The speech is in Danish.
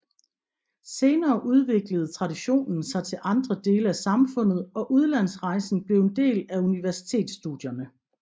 Senere udviklede traditionen sig til andre dele af samfundet og udlandsrejsen blev en del af universitetsstudierne